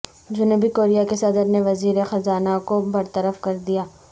جنوبی کوریا کے صدر نے وزیرخزانہ کو برطرف کر دیا